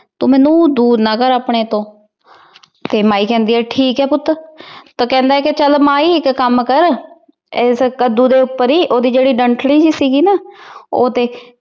ਤੂੰ ਮੈਨੂੰ ਦੂਰ ਨਾ ਕਰ ਆਪਣੇ ਤੋਂ ਤੇ ਮਾਈ ਕਹਿੰਦੀ ਐ ਠੀਕ ਹੈ ਪੁੱਤ। ਤੇ ਉਹ ਕਹਿੰਦਾ ਹੈ ਕੇ ਮਾਈ ਇੱਕ ਕੰਮ ਕਰ। ਇਸ ਕੱਦੂ ਦੇ ਉਪਰ ਹੀ ਉਹਦੀ ਜਿਹਰੀ ਡੰਡਖੜੀ ਸੀਗੀ ਨਾ ਉਹ ਤੇ